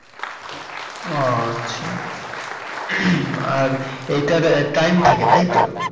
ও আচ্ছা আর এটার time থাকে তাইতো?